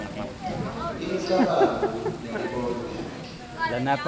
imicabango nemibono yakhe